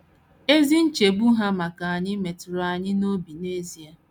Ezi nchegbu ha maka anyị metụrụ anyị n’obi n’ezie.